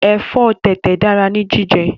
Ẹ̀fọ́ tẹ̀tẹ̀ dára ní jíjẹ